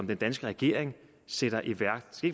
den danske regering sætter i værk